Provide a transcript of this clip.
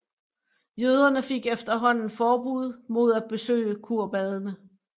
Jøderne fik efterhånden forbud mod at besøge kurbadene